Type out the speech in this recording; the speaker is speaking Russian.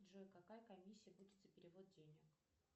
джой какая комиссия будет за перевод денег